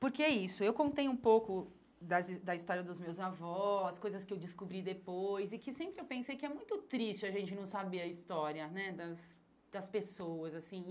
Porque é isso, eu contei um pouco das his da história dos meus avós, coisas que eu descobri depois, e que sempre eu pensei que é muito triste a gente não saber a história né das das pessoas assim.